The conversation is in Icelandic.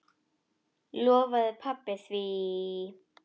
Lofaði pabba því.